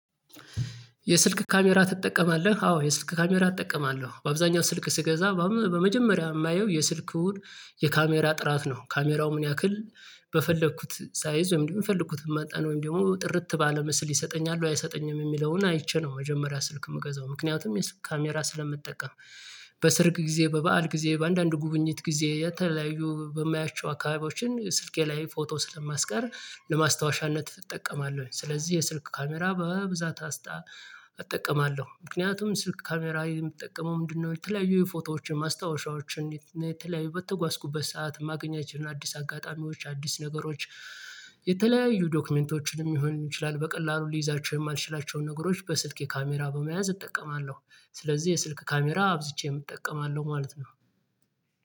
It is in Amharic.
የስልክ ካሜራ ትጠቀማለህ? አዎ የስልክ ካሜራ እጠቀማለሁ። በአብዛኛው ስልክ ስገዛ ባም በመጀመሪያ እማየው የስልኩን የካሜራ ጥራት ነው ካሜራው ምን ያክል በፈለግኩት ሳይዝ ወይም ደግሞ የፈልኩትን መጠን ወይም ደግሞ ጥርት ባለ ምስል ይሰጠኛል ወይ አይሰጠኝም የሚለውን አይቼ ነው መጀመሪያ ስልክ እምገዛው ምክንያቱም የሱ ካሜራ ስለምጠቀም በሰርግ ጊዜ፣ በበዓል ጊዜ፣ በአንዳንድ ጉብኝት ጊዜ፣ የተለያዩ በማያቸው አካባቢዎችን ስልኬ ላይ ፎቶ ስለማስቀር ለማስታወሻነት እጠቀማለሁኝ። ስለዚህ የስልክ ካሜራ በብዛት አስጣ አጠቀማለሁ ምክንያቱም ስልክ ካሜራ የምጠቀመው ምንድነው የተለያዩ የፎቶዎችን፣ ማስታወሻዎችን፣ የት የተለያዩ በተጓዝኩበት ሰዓት ማገኛቸውን አዲስ አጋጣሚዎች አዲስ ነገሮች የተለያዩ ዶክመንቶችንም ይሆን ይችላል በቀላሉ ልይዛቸው የማልችላቸውን ነገሮች በስልኬ ካሜራ በመያዝ እጠቀማለሁ፣ ስለዚህ የስልክ ካሜራ አብዝቼም እጠቀማለሁ ማለት ነው።